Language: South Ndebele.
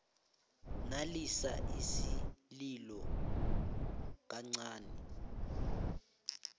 nalisa isililo kuicd